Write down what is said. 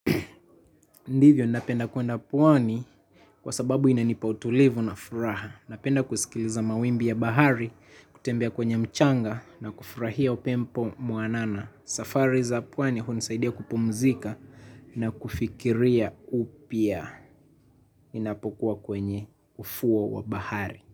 Ndivyo napenda kwenda pwani kwa sababu inanipa utulivu na furaha. Ninapenda kusikiliza mawimbi ya bahari, kutembea kwenye mchanga na kufurahia upempo mwanana. Safari za pwani hunisaidia kupumzika na kufikiria upya. Inapokuwa kwenye ufuwo wa bahari.